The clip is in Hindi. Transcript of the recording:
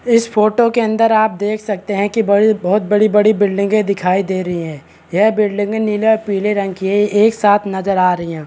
इस फोटो के अंदर आप देख सकते है की बड़ी बहुत बड़ी - बड़ी बिल्डिंगे दिखाई दे रही है यह बिल्डिंगे नीले और पिले रंग की है एक साथ नजर आ रही है।